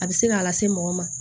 A bɛ se k'a lase mɔgɔ ma